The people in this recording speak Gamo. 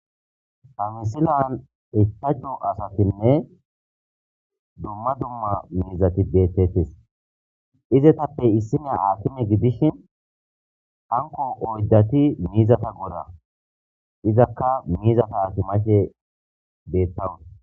amisilan etajju asatinne dumma dumma mizati deettettes izetappey issinea aatime gidishin hanko oyddati miizata gora izakka miizata atimashe deettawu